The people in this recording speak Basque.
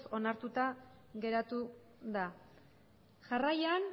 onartuta geratu da jarraian